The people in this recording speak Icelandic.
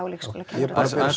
leikskólakennara